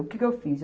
O que que eu fiz?